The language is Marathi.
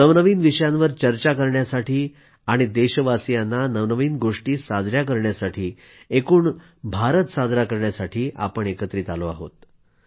नवनवीन विषयांवर चर्चा करण्यासाठी आणि देशवासियांना नवनवीन गोष्टीं साजया करण्यासाठी एकूण भारतसाजरा करण्यासाठी आपण एकत्रित आलो आहोत